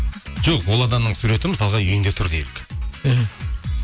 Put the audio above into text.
жоқ ол адамның суреті мысалға үйінде тұр делік мхм